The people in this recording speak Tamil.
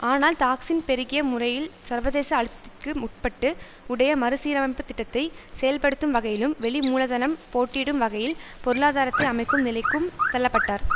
ஆனால் தாக்சின் பெருகிய முறையில் சர்வதேச அழுத்தத்திற்கு உட்பட்டு உடைய மறுசீரமைப்பு திட்டத்தை செயல்படுத்தும் வகையிலும் வெளி மூலதனம் போட்டியிடும் வகையில் பொருளாதாரத்தை அமைக்கும் நிலைக்கும் தள்ள பட்டார்